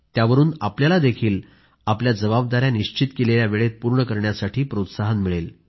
त्यावरून आपण त्याला आपल्या जबाबदाऱ्या निश्चित केलेल्या वेळेत पूर्ण करण्यासाठी प्रोत्साहन मिळते